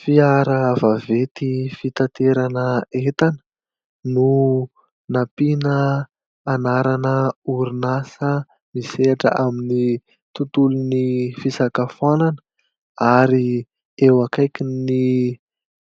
Fiara vaventy fitaterana entana no nampiana anarana orinasa misehatra amin'ny tontolon'ny fisakafoanana ary eo akaikin'ny